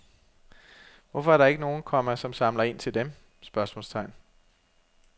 Hvorfor er der ikke nogen, komma som samler ind til dem? spørgsmålstegn